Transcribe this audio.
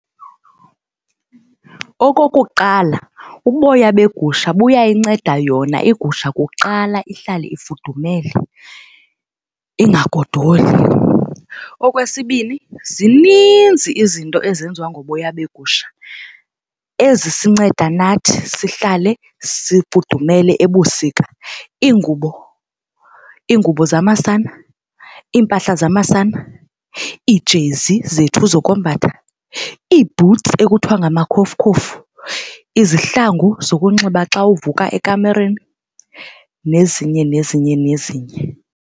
Okokuqala, uboya begusha buyayinceda yona igusha kuqala ihlale ifudumele ingagodoli. Okwesibini, zininzi izinto ezenziwa ngoboya begusha ezisinceda nathi sihlale sifudumele ebusika, iingubo, iingubo zamasana, iimpahla zamasana, ijezi zethu zokombatha, iibhutsi ekuthiwa ngamakhofukhofu, izihlangu zokunxiba xa uvuka ekamereni nezinye nezinye nezinye.